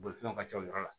Bolifɛnw ka ca o yɔrɔ la